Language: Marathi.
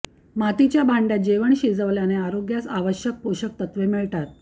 मातीच्या भांड्यात जेवण शिजवल्याने आरोग्यास आवश्यक पोषक तत्त्वे मिळतात